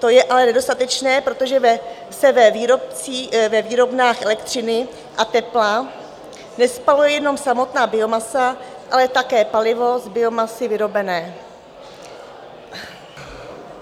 To je ale nedostatečné, protože se ve výrobnách elektřiny a tepla nespaluje jenom samotná biomasa, ale také palivo z biomasy vyrobené.